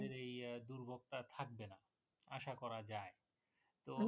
আমাদের এই দুর্ভোগটা থাকবে না আশা করা যায় তো